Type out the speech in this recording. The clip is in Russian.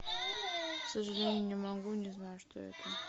к сожалению не могу не знаю что это